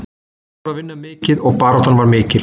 Menn voru að vinna mikið og baráttan var mikil.